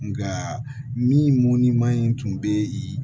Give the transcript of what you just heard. Nka min man in tun bɛ yen